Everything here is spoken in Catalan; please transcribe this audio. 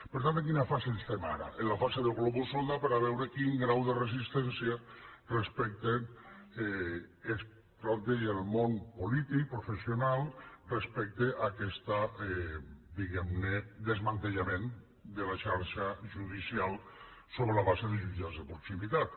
per tant en quina fase estem ara en la fase de globus sonda per a veure quin grau de resistència es planteja en el món polític professional respecte a aquest diguem ne desmantellament de la xarxa judicial sobre la base de jutjats de proximitat